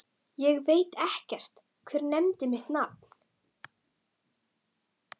Ég veit ekkert, hver nefndi mitt nafn?